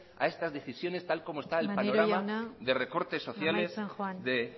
a estas decisiones tal como está el panorama de recortes sociales maneiro jauna amaitzen joan de